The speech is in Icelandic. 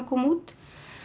kom út